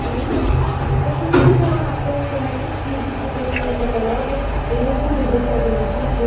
Panzeri, a choisi de faire un rapport thématique qui évite le côté catalogue et beaucoup de deux poids, deux mesures.